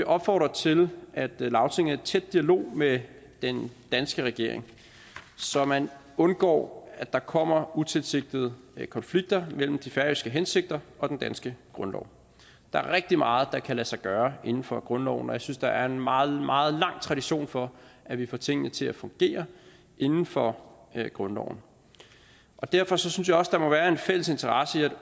opfordre til at lagtinget er i tæt dialog med den danske regering så man undgår at der kommer utilsigtede konflikter mellem de færøske hensigter og den danske grundlov der er rigtig meget der kan lade sig gøre inden for grundloven og jeg synes der er en meget meget lang tradition for at vi får tingene til at fungere inden for grundloven derfor synes jeg også der må være en fælles interesse i at